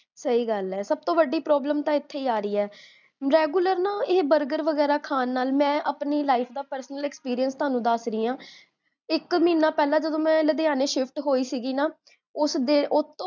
ਸਹੀ ਗਲ ਹੈ ਸਬ ਤੋਂ ਵੱਡੀ ਪ੍ਰੋਬਲਮ ਤਾਂ ਇਥੇ ਹੀ ਆਰਹੀ ਹੈ regular ਨਾ ਇਹ burger ਵਗੇਰਾ ਖਾਨ ਨਾਲ, ਮੈਂ ਆਪਣੀ life ਦਾ personal experience ਤੁਹਾਨੂੰ ਦੱਸ ਰਹੀ ਹਾਂ ਇਕ ਮਹੀਨਾਂ ਪੇਹ੍ਲਾਂ ਜਦੋਂ ਮੈਂ ਲੁਦਿਆਨੇ ਸ਼ਿਫਟ ਹੋਈ ਸੀਗੀ ਨਾ